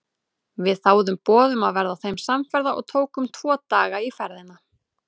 Við þáðum boð um að verða þeim samferða og tókum tvo daga í ferðina.